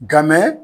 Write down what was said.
Nka mɛ